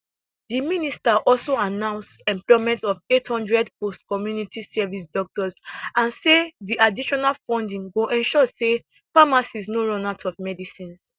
di minister also announce employment of 800 postcommunity service doctors and say di additional funding go ensure say pharmacies no run out of medicines